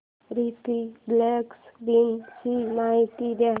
Republic दिन ची माहिती दे